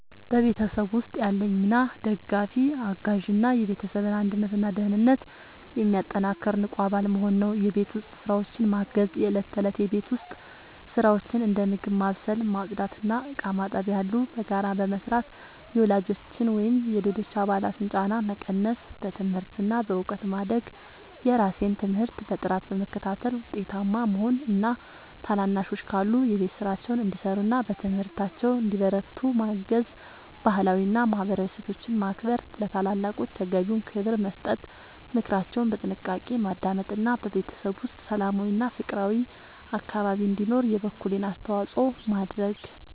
በቤተሰብ ውስጥ ያለኝ ሚና ደጋፊ፣ አጋዥ እና የቤተሰብን አንድነትና ደህንነት የሚያጠናክር ንቁ አባል መሆን ነው። የቤት ውስጥ ስራዎችን ማገዝ፦ የእለት ተእለት የቤት ውስጥ ስራዎችን (እንደ ምግብ ማብሰል፣ ማጽዳት እና ዕቃ ማጠብ ያሉ) በጋራ በመስራት የወላጆችን ወይም የሌሎች አባላትን ጫና መቀነስ። በትምህርት እና በእውቀት ማደግ፦ የራሴን ትምህርት በጥራት በመከታተል ውጤታማ መሆን እና ታናናሾች ካሉ የቤት ስራቸውን እንዲሰሩና በትምህርታቸው እንዲበረቱ ማገዝ። ባህላዊ እና ማህበራዊ እሴቶችን ማክበር፦ ለታላላቆች ተገቢውን ክብር መስጠት፣ ምክራቸውን በጥንቃቄ ማዳመጥ እና በቤተሰብ ውስጥ ሰላማዊና ፍቅራዊ አካባቢ እንዲኖር የበኩሌን አስተዋጽኦ ማድረግ።